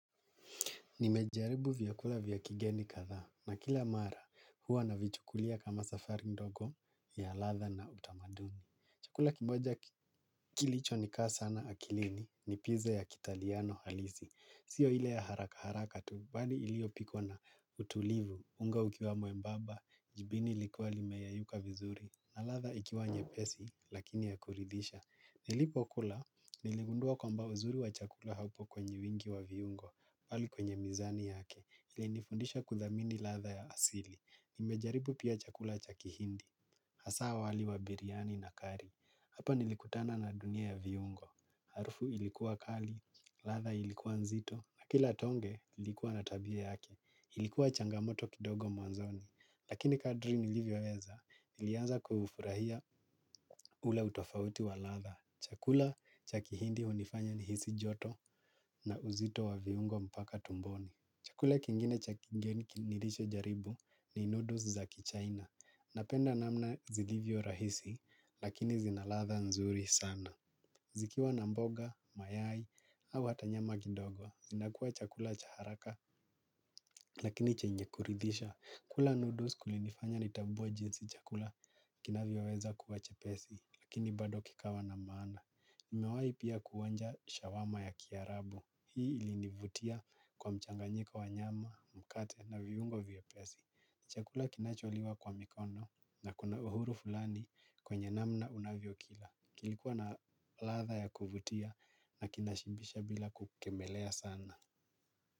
Nimejaribu vyakula vya kigeni kadhaa na kila mara huwa navichukulia kama safari ndogo ya ladha na utamaduni. Chakula kimoja kilichonikaa sana akilini ni pizza ya kitaliano halisi. Sio ile ya haraka haraka tu bali iliyopikwa na utulivu, unga ukiwa mwembamba, jibini likiwa limeyeyuka vizuri na ladha ikiwa nyepesi lakini ya kuridhisha. Nilipokula, niligundua kwamba uzuri wa chakula haupo kwenye wingi wa viungo. Bali kwenye mizani yake, ilinifundisha kudhamini ladha ya asili. Nimejaribu pia chakula cha kihindi, hasa wali wa biriani nakari. Hapa nilikutana na dunia ya viungo. Harufu ilikuwa kali, ladha ilikuwa nzito. Na kila tonge, ilikuwa na tabia yake. Ilikuwa changamoto kidogo mwanzoni. Lakini kadri nilivyoweza, nilianza kuufurahia ule utofauti wa ladha. Chakula cha kihindi hunifanya nihisi joto na uzito wa viungo mpaka tumboni. Chakula kingine cha kigeni nilichojaribu ni noodles za kichina. Napenda namna zilivyo rahisi lakini zina ladha nzuri sana. Zikiwa na mboga, mayai au hata nyama kidogo. Zinakuwa chakula cha haraka lakini chenye kuridhisha. Kula noodles kulinifanya nitambue jinsi chakula kinavyoweza kuwa chepesi lakini bado kikawa na maana. Nimewahi pia kuonja shawarma ya kiarabu. Hii ilinivutia kwa mchanganyiko wa nyama, mkate na viungo vyepesi. Chakula kinacholiwa kwa mikono na kuna uhuru fulani kwenye namna unavyokila. Kilikuwa na ladha ya kuvutia na kinashibisha bila kukemelea sana.